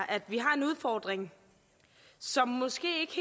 at vi har en udfordring som måske